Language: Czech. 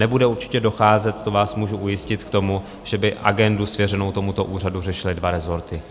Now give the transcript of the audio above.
Nebude určitě docházet, to vás můžu ujistit, k tomu, že by agendu svěřenou tomuto úřadu řešily dva rezorty.